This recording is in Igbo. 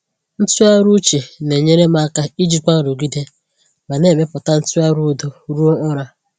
Ntụgharị uche na-enyere m aka ijikwa nrụgide ma na-emepụta ntụgharị udo ruo ụra.